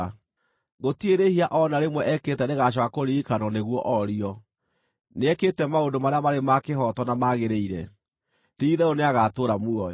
Gũtirĩ rĩĩhia o na rĩmwe ekĩte rĩgaacooka kũririkanwo nĩguo orio. Nĩekĩte maũndũ marĩa marĩ ma kĩhooto na magĩrĩire; ti-itherũ nĩagatũũra muoyo.